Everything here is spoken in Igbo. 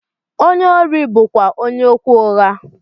Onye órí bú kwá onye okwu ụgha.